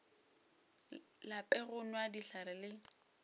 lape go nwa dihlare le